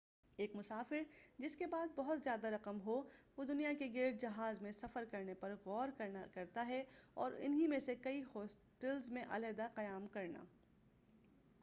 ایک مسافر جس کے پاس بہت زیادہ رقم ہو وہ دنیا کے گرد جہاز میں سفر کرنے پر غور کرنا چاہیئے اور ان ہی میں سے کئی ہوٹلز میں علیٰحدہ قیام کرنا